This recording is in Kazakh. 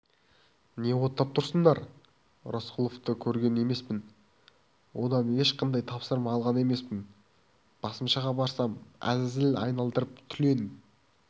не оттап тұрсыңдар рысқұловты көрген емеспін одан ешқандай тапсырма алған емеспін басмашыға барсам әзәзіл айландырып түлен